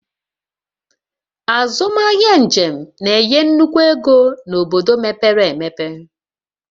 Azụmahịa njem na-enye nnukwu ego n'obodo mepere emepe